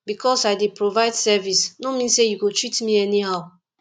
because i dey provide service no mean sey you go treat me anyhow